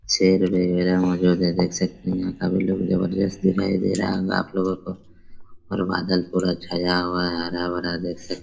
शेर वगेरा मौजूद है जो देख सकते है यहाँ काफी लोग जबरदस्त दिखाई दे रहा होंगा आप लोगो को और बदल पूरा छाया हुआ है हरा-भरा देख सकते है।